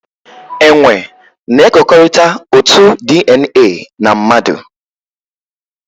Enwe na-ekekọrịta otu DNA na mmadụ